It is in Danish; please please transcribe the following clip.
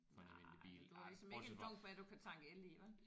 Nej men du har ligesom ikke en dunk med du kan tanke el i vel